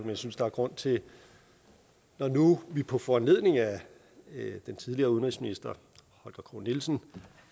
jeg synes der er grund til når nu vi på foranledning af den tidligere udenrigsminister holger k nielsen